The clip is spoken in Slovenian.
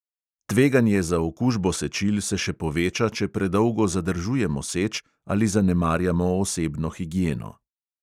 Tveganje za okužbo sečil se še poveča, če predolgo zadržujemo seč ali zanemarjamo osebno higieno.